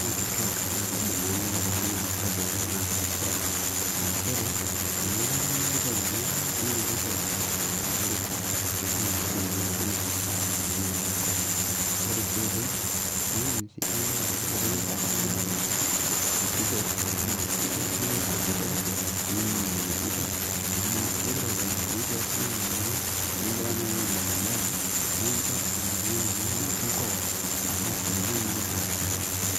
kituak naa kaidim ayanyita tookuna oitoi naapashari aa nchere tenelotu oltung'ani kitok itonita ninyototo aisho olorika naa ina oshi eji enkanyit tenaalo enkop ang ore sii ae toki naa indim sii dii naa yiolo peekimpot kitok naa ilo ikwet oleng ninining enejoit, yiolo toonkiasin enaa noo teningirara naaji aimaki embaye naa incho ilo tung'ani mikinkoo amu ninye naa orbotorr teyie.